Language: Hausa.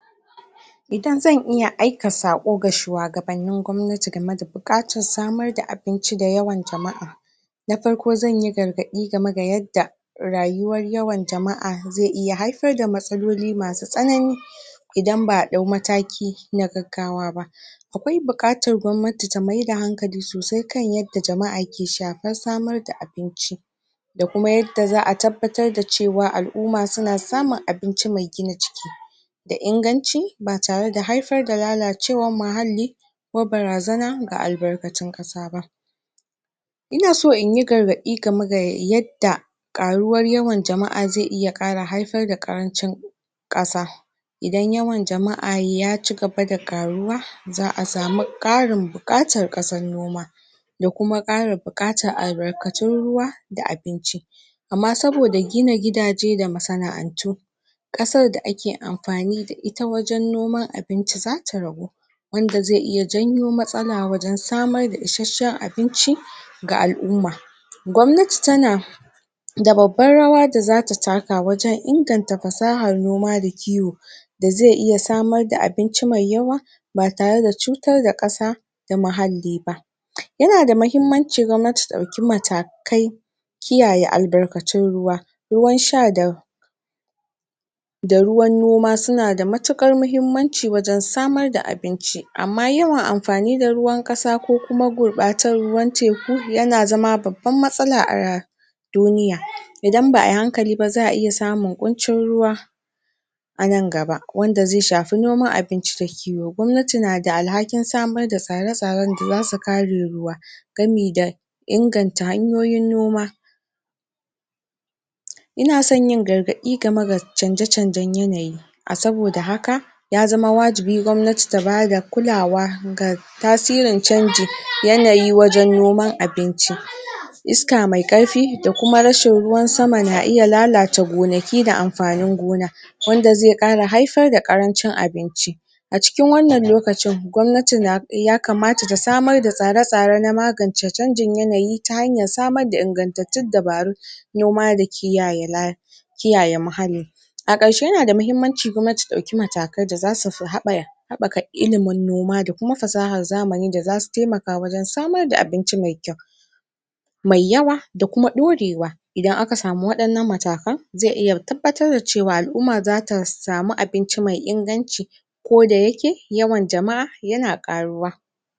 idan zan iya aika saƙo ga shuwagabannin gwamnati game da buƙatar samar da abinci da yawan jama'a na farko zanyi gargadi game ga yadda rayuwar yawan jama'a zai iya haifar da matsaloli masu tsanani idan ba'a ɗau mataki na gaggawa ba akwai buƙatar gwamnati ta maida hankali sosai kan yadda jama'a ke shafar samar da abinci da kuma yadda za'a tabbatar da cewa al'uma suna samun abinci mai gina jiki da inganci ba tare da haifar da lalacewar muhalli ko barazana ga albarkatun ƙasa ba ina so inyi gargaɗi game ga yadda ƙaruwan yawan jama'a zai iya ƙara haifar da ƙarancin ƙasa idan yawan jama'a ya ci gaba da ƙaruwa za'a samu ƙarin buƙatar ƙasar noma da kuma ƙara buƙatar albarkatun ruwa da abinci amma sabodaa gina gidaje da masana'antu ƙasar da ake amfani da ita wajen noman abinci zata ragu anda zai iya janyo matsala wajen samar da ishashshen abinci ga al'umma gwamnati ta na a babbar rawa da zata taka wajen inganta fasahar noma da kiwo da zai iya samar da abinci mai yawa ba tare da cutar da ƙasa da muhalli ba huh yanada mahimmanci gwamnati ta ɗauki matakai kiyaye albarkatun ruwa ruwan sha da da ruwan noma suna da matuƙar mahimmanci wajen samar da abinci amma yawan amfani da ruwan ƙasa ko kuma gurbatar ruwan teku yana zama babban matsala a duniya idan ba'ayi hankali ba za'a iya samun ƙuncin ruwa a nan gabawanda zai shafi noman abinci da kiwo gwamnati na da alhakin samar da tsare tsaren da zasu kare ruwa gami da inganta hanyoyin noma inason yin gargaɗi game ga canje canjen yanayi a saboda haka ya zama wajibi gwamnati ta bada kulawa ga tasirin canji yanayi wajen noman abinci iska mai ƙarfi da kuma rashin ruwan sama na iya lalata gonaki da amfanin gona wanda zai iya haifar da ƙarancin abinci a cikin wannan lokacin gwamnati na yakamata ta samar da tsare tsare na magance canjin yanayi ta hanyar samar da ingantattun dabaru huh noma da kiyaye la kiyaye muhalli a ƙarshe nada muhimmanci gwamnati ta ɗauki matakai da zasu haɓaya haɓaka ilimin noma da kuma fasahar zamani da zasu taimaka wajen samar da abinci mai kyau mai yawa da kuma ɗorewa idan aka samu waɗannan matakan zai iya tabbatar da cewa al'umma zata samu abinci mai inganci ko da yake yawan jama'a yana ƙaruwa